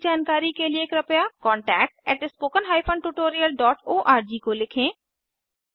अधिक जानकारी के लिए कृपया contactspoken tutorialorg को लिखें